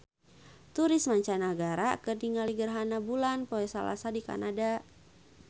Turis mancanagara keur ningali gerhana bulan poe Salasa di Kanada